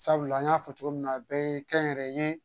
Sabula an y'a fɔ cogo min na a bɛɛ ye kɛnyɛrɛye